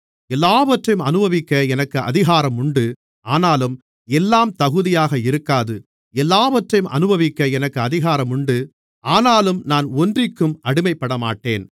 எல்லாவற்றையும் அநுபவிக்க எனக்கு அதிகாரம் உண்டு ஆனாலும் எல்லாம் தகுதியாக இருக்காது எல்லாவற்றையும் அநுபவிக்க எனக்கு அதிகாரம் உண்டு ஆனாலும் நான் ஒன்றிற்கும் அடிமைப்படமாட்டேன்